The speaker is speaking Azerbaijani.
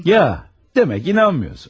Ya, demək inanmıyorsunuz.